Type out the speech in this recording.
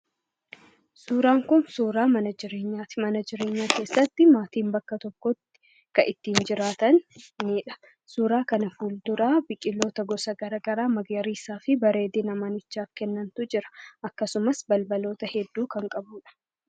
Suuraan kunnsuuraa mana jireenyaa ti. Mana jireenyaa keessatti maatiin bakka tokkotti kan itti jiraatanidha. Suuraa kana fuuldura biqiloota gisa gara garaa magariisa ta'aniifi manichaaf bareedina kennantu jira. Akkasumas balbaloota hedduu kan qabudha.